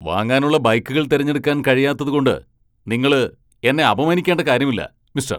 വാങ്ങാനുള്ള ബൈക്കുകൾ തിരഞ്ഞെടുക്കാൻ കഴിയാത്തതുകൊണ്ട് നിങ്ങള് എന്നെ അപമാനിക്കണ്ട കാര്യമില്ല, മിസ്റ്റർ.